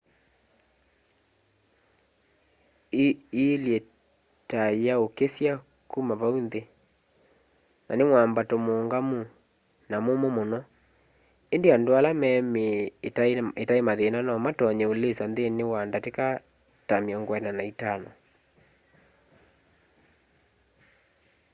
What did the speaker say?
ĩilye ta yaũkĩsya kuma vau nthĩ na nĩ mwambato mũũngamu na mũmũ mũno ĩndĩ andũ ala me mĩĩ ĩtaĩ mathĩna no matonye ũlĩsa nthĩnĩ wa ndatĩka ta 45